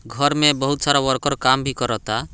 घर में बहुत सारा वर्कर काम भी कराता।